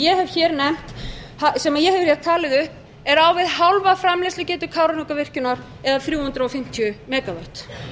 ég hef talið upp er á við hálfa framleiðslugetu kárahnjúkavirkjunar eða þrjú hundruð fimmtíu megavött